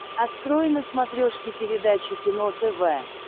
открой на смотрешке передачу кино тв